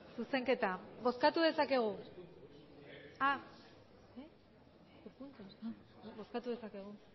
bozkatu dezakegu